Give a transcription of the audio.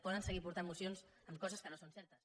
poden seguir portant mocions amb coses que no són certes